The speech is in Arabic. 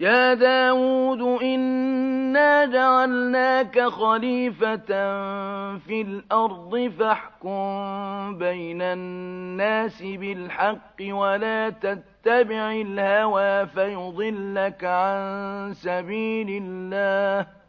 يَا دَاوُودُ إِنَّا جَعَلْنَاكَ خَلِيفَةً فِي الْأَرْضِ فَاحْكُم بَيْنَ النَّاسِ بِالْحَقِّ وَلَا تَتَّبِعِ الْهَوَىٰ فَيُضِلَّكَ عَن سَبِيلِ اللَّهِ ۚ